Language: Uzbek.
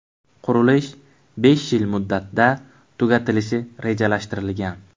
Qurilish besh yil muddatda tugatilishi rejalashtirilgan.